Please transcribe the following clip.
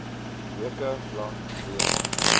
weke lank weens